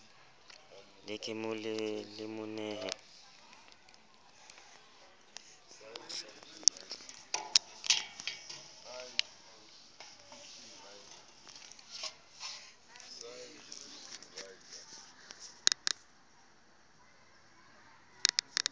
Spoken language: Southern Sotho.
le ke le mo nehe